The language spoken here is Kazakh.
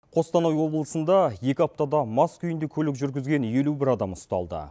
қостанай облысында екі аптада мас күйінде көлік жүргізген елу бір адам ұсталды